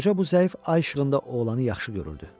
Qoca bu zəif ay işığında oğlanı yaxşı görürdü.